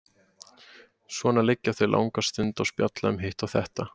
Svona liggja þau langa stund og spjalla um hitt og þetta.